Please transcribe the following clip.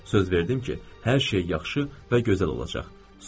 Söz verdim ki, hər şey yaxşı və gözəl olacaq.